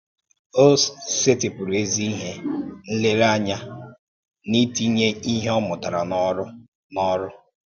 Ọ sétìpùrụ̀ ézì ìhè um nlérèányà n’ítìnye ihe ọ mụ̀tàrà n’órù. n’órù.